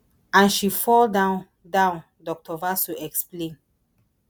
and she fall down down dr vasu explain